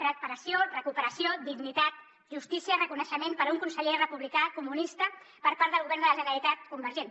reparació recuperació dignitat justícia i reconeixement per a un conseller republicà comunista per part del govern de la generalitat convergent